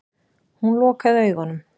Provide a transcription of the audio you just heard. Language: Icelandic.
Hún lokaði augunum.